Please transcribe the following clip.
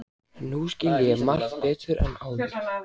Nú skil ég margt betur en áður.